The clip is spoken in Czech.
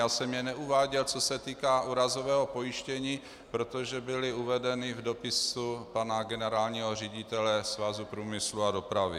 Já jsem je neuváděl, co se týká úrazového pojištění, protože byly uvedeny v dopisu pana generálního ředitele Svazu průmyslu a dopravy.